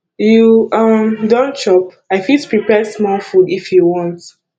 you um don chop i fit prepare small food if you want